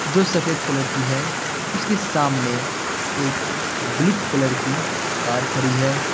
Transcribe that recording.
जो सफेद कलर की है उसके सामने एक ब्लू कलर की कार खड़ी है।